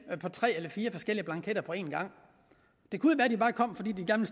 på tre eller fire forskellige blanketter på en gang det kunne være de bare kom fordi de gerne